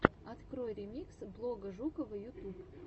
открой ремикс блога жукова ютуб